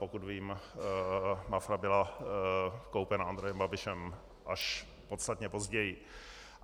Pokud vím, Mafra byla koupena Andrejem Babišem až podstatně později.